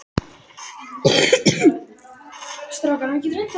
Slíkar tengingar eru ætíð afturkræfar eins og nauðsyn ber til.